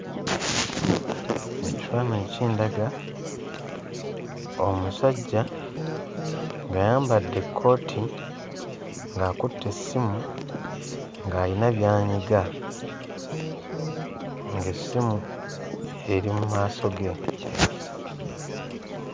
Ekifaananyi kindaga omusajja ng'ayambadde ekkooti, ng'akutte essimu, ng'ayina by'anyiga, ng'essimu eri mu maaso ge.